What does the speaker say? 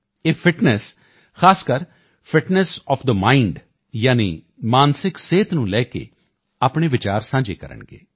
ਇਹ ਫਿਟਨੈੱਸ ਖਾਸਕਰ fitness of the mind ਯਾਨੀ ਮਾਨਸਿਕ ਸਿਹਤ ਨੂੰ ਲੈ ਕੇ ਆਪਣੇ ਵਿਚਾਰ ਸਾਂਝੇ ਕਰਨਗੇ